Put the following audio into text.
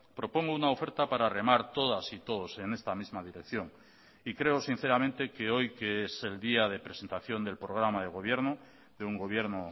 propongo una oferta para remar todas y todos en esta misma dirección y creo sinceramente que hoy que es el día de presentación del programa de gobierno de un gobierno